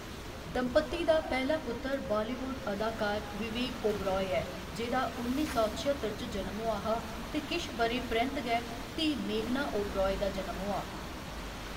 दंपति दा पैह्‌‌‌ला पुत्तर बालीवुड अदाकार विवेक ओबेराय ऐ, जेह्‌दा उन्नी सौ छअत्तर च जनम होआ हा ते किश ब'रें परैंत्त गै धीऽ मेघना ओबेराय दा जनम होआ।